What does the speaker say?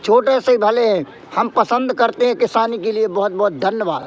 छोटे से भले हम पसंद करते हैं किसान के लिए बहुत बहुत धन्यवाद।